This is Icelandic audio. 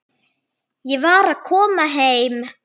Ég var að koma heim.